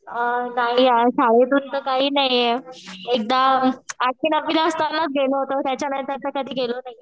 अ नाही यार शाळेतून तर काही नाही आहे. एकदा आठवि नववि ला असतानाच गेलो होतो त्याच्यानंतर कधी गेलो नाही.